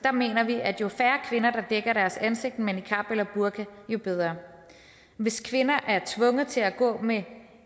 mener vi at jo færre kvinder der dækker ansigtet med niqab eller burka jo bedre hvis kvinder er tvunget til at gå med